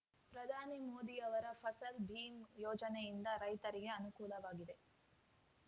ಪ್ರಧಾನಿ ಮೋದಿಯವರ ಫಸಲ್‌ ಬೀಮ್ ಯೋಜನೆಯಿಂದ ರೈತರಿಗೆ ಅನುಕೂಲವಾಗಿದೆ